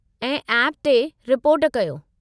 ऐं ऐप ते रिपोर्ट कयो।